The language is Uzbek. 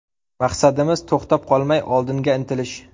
Maqsadimiz to‘xtab qolmay, oldinga intilish.